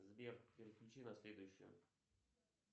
сбер переключи на следующую